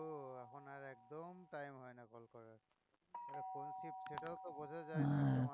একদম time হয় না call করার সেটাও তো বোঝা যায় না